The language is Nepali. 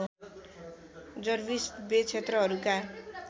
जर्विस बे क्षेत्रहरूका